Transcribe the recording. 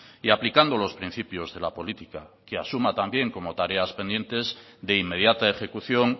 y aplicando los principios de la política que asuma también como tareas pendientes de inmediata ejecución